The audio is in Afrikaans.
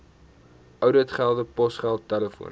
ouditgelde posgeld telefoon